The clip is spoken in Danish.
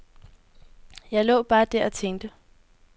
Jeg lå bare der og tænkte.